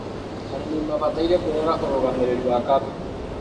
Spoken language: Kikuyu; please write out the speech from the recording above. arĩmi mabataire kũrora ũrũgamĩrĩri wa kapito